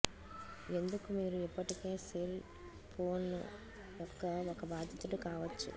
ఎందుకు మీరు ఇప్పటికే సెల్ ఫోన్ యొక్క ఒక బాధితుడు కావచ్చు